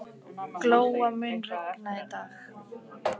Glóa, mun rigna í dag?